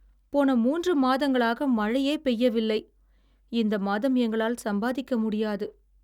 போன மூன்று மாதங்களாக மழையே பெய்யவில்லை. இந்த மாதம் எங்களால் சம்பாதிக்க முடியாது.